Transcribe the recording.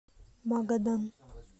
магадан